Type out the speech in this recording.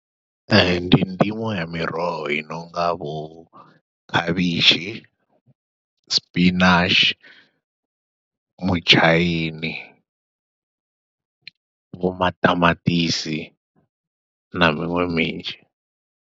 Ee, ndi ndimo ya miroho i nonga vho khavhishi, spinach, mutshaini, vho maṱamaṱisi, na miṅwe minzhi.